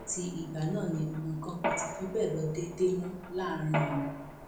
láti ìgbà náà ni nǹkan kò ti fi bẹẹ lọ déédé mọ láàrin wọn